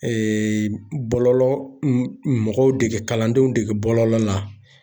bɔlɔlɔ mɔgɔw dege kalandenw dege bɔlɔlɔ la